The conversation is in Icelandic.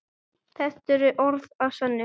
Þetta eru orð að sönnu.